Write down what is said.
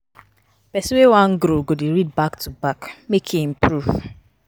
Pesin wey wan grow go dey read back to back, make e improve.